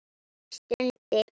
Hann stundi.